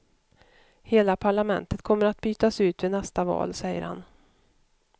Hela parlamentet kommer att bytas ut vid nästa val, säger han.